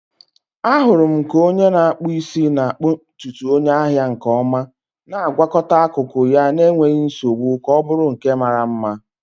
Ahụrụ m ka onye na-akpụ isi na-akpụ ntutu onye ahịa nke ọma, na-agwakọta akụkụ ya n'enweghị nsogbu ka ọ bụrụ nke mara mma.